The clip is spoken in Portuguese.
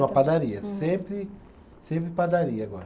Numa padaria, sempre sempre padaria agora.